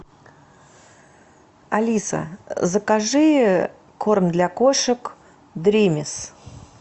алиса закажи корм для кошек дримис